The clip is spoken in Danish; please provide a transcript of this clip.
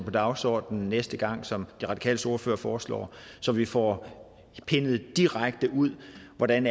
på dagsordenen næste gang som de radikales ordfører foreslår så vi får pindet direkte ud hvordan